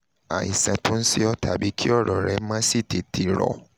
àìsàn tó ń ṣe ọ́ tàbí kí ọ̀rọ̀ rẹ má sì tètè rọ́